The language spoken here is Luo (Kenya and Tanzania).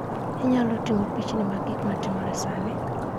Inyalo ting'o pichni mag gik matimore sani